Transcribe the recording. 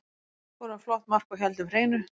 Við skoruðum flott mark og héldum hreinu.